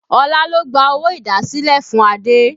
Olá ló gba owó idasile fún Adé